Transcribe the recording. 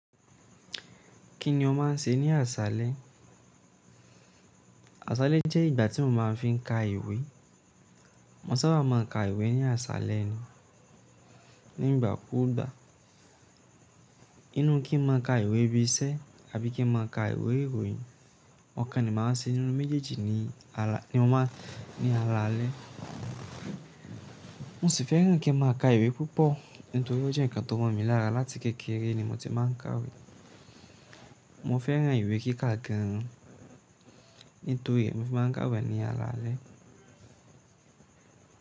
Kí ni o máà ń ṣe ní aṣálẹ́? Aṣálẹ́ jẹ́ ìgbà tí mo máa ń fi ka ìwé. Mo sábà máa ń ka ìwé ní aṣálẹ́ ni, nígbàkúùgbà. Ínu kí n máa ka ìwé bí iṣẹ́ tàbí kí n máa ka ìwé ìròyìn, ọ̀kan ni màá ń ṣe nínú méjèèjì ni mo máa ní a lálẹ́. Mo sì fẹ́ràn kí n máa ka ìwé púpọ̀, nítorí ó jẹ́ ǹkan tó mọ̀ mí lára láti kékeré ni mo ti máa ń ka ìwé. Mo fẹ́ràn ìwé kí ka gan an, nítorí è mofi máa ń ka ìwé ní a lálẹ́.